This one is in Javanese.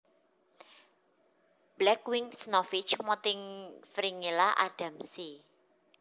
Black winged Snowfinch Montifringilla adamsi